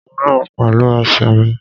Mo ń rìn pẹ̀lú ẹsẹ̀ mi